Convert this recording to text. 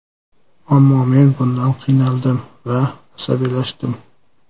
Ammo men bundan qiynaldim va asabiylashdim.